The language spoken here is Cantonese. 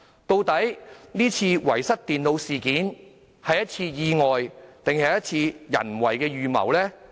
究竟這次遺失電腦事件是意外，還是人為的預謀呢？